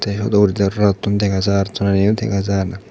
te hudo urendi aro rottun dega jar tollendiyo dega jar.